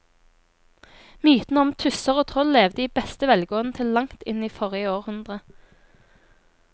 Mytene om tusser og troll levde i beste velgående til langt inn i forrige århundre.